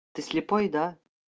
ты слепой да